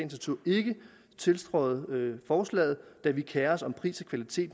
natur ikke tiltræde forslaget da vi kerer os om pris og kvalitet